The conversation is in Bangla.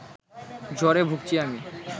জ্বরে ভুগছি আমি